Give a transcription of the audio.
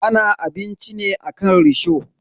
Ana abinci ne akan risho.